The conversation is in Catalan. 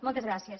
moltes gràcies